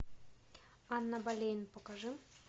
анна болейн покажи